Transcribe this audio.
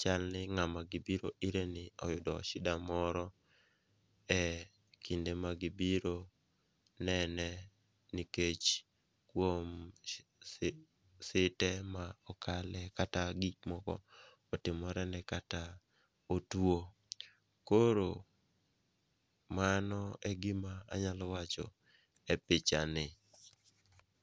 chal ni ng'ama gibiro ireni oyudo shida moro ekinde ma gibiro nene nikech kuom shite ma okale kata gik moko otimorene kata otuwo. Koro mano e gima anyalo wacho e pichani.